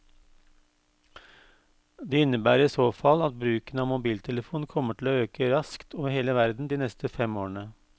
Det innebærer i så fall at bruken av mobiltelefon kommer til å øke raskt over hele verden de neste fem årene.